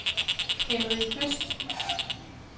Henri Høst